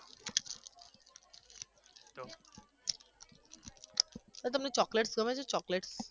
તો તમને ચોકલેટ ગમે છે ચોકલેટ